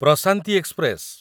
Prashanti express